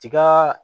Tiga